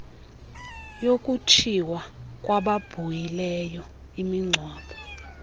yokutshiswa kwababhuhileyo imingcwabo